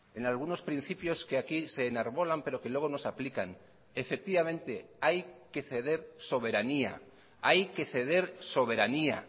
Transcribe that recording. en algunos principios que aquí se enarbolan pero que luego nos aplican efectivamente hay que ceder soberanía hay que ceder soberanía